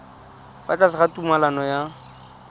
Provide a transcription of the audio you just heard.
fa tlase ga tumalano ya